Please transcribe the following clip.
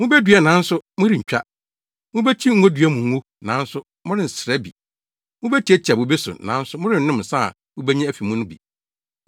Mubedua nanso morentwa. Mubekyi ngodua mu ngo, nanso morensra bi, mubetiatia bobe so, nanso morennom nsa a mubenya afi mu no bi.